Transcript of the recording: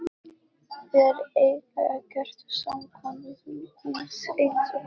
Þeir eiga ekkert samkomuhús eins og við.